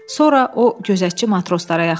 Sonra o gözətçi matroslara yaxınlaşdı.